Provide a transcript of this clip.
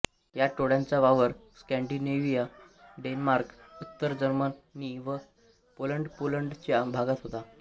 या टोळ्यांचा वावर स्कॅंडिनेव्हिया डेन्मार्क उत्तर जर्मनी व पोलंडपोलंडच्या भागात होता